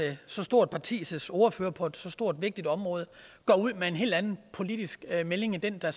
så stort partis ordfører på et så stort og vigtigt område går ud med en helt anden politisk melding end den der